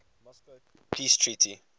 moscow peace treaty